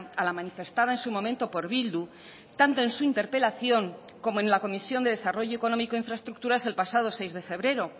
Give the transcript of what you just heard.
a la manifestada en su momento por bildu tanto en su interpelación como en la comisión de desarrollo económico e infraestructuras el pasado seis de febrero